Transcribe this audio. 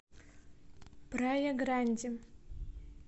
прая гранди